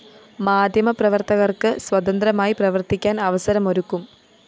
മാധ്യമപ്രവര്‍ത്തകര്‍ക്ക് സ്വതന്ത്രമായി പ്രവര്‍ത്തിക്കാന്‍ അവസരമൊരുക്കും